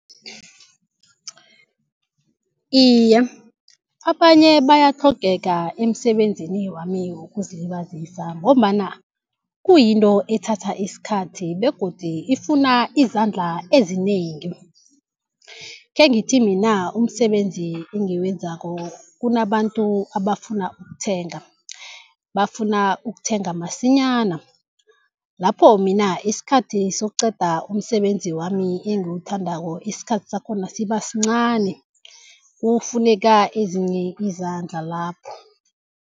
Iye, abanye bayatlhogeka emsebenzini wami wokuzilibazisa ngombana kuyinto ethatha isikhathi begodu ifuna izandla ezinengi. Khengithi mina umsebenzi engiwenzako kunabantu abafuna ukuthenga, bafuna ukuthenga masinyana. Lapho mina isikhathi sokuqeda umsebenzi wami engiwuthandako isikhathi sakhona sibasincani kufuneka ezinye izandla lapho.